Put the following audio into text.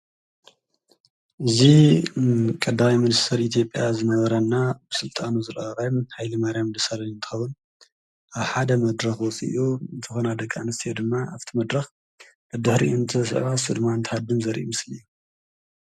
እዙ ቀዳዊይ መድስተር ኢቲጴያ ዝነበራና ብሥልጣኑ ዝለዓባይ ኃይሊ ማርያም ድሰለን እንተዉን ኣብ ሓደ መድረኽ ወፂኡ ተኾና ደቃ እንስሴ ድማ ኣፍቲ መድረኽ እድኅሪ እንቲ ሰቓ ሥድማንትሃድን ዘርእኢ ምስሊ እዩ።